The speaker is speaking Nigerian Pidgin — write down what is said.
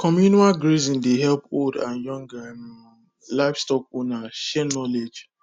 communal grazing dey help old and young um livestock owners share knowledge